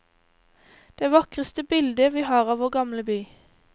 Det vakreste bilde vi har av vår gamle by.